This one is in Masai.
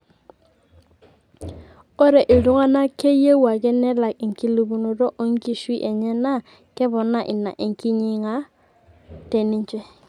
ore iltunganka keyieu ake nelak enkilepunoto e nkiishui enye naa keponaa ina enkinying'a te ninche